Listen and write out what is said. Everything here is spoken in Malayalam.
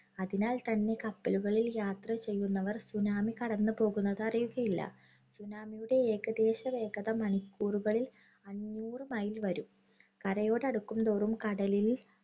അതിനാൽ തന്നെ കപ്പലുകളിൽ യാത്ര ചെയ്യുന്നവർ tsunami കടന്നുപോകുന്നത് അറിയുകയില്ല. tsunami യുടെ ഏകദേശവേഗത മണിക്കൂറുകളിൽ അഞ്ഞൂറു mile വരും. കരയോടടുക്കുന്തോറും കടലില്‍